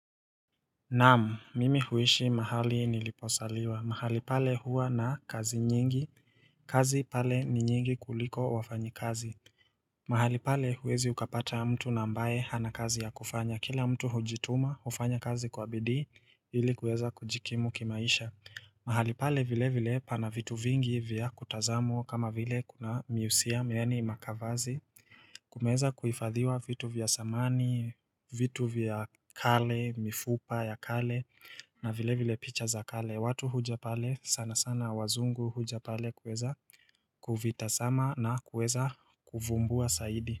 Naam, mimi huishi mahali niliposaliwa mahali pale huwa na kazi nyingi kazi pale ni nyingi kuliko wafanyikazi mahali pale huwezi ukapata mtu na ambaye hana kazi ya kufanya kila mtu hujituma hufanya kazi kwa bidii ili kuweza kujikimu kimaisha mahali pale vile vile pana vitu vingi vya kutazamwa kama vile kuna miusiam yaani makavazi kumeza kuifadhiwa vitu vya samani, vitu vya kale, mifupa ya kale na vile vile picha za kale. Watu huja pale sana sana wazungu huja pale kueza kuvitasama na kueza kuvumbua saidi.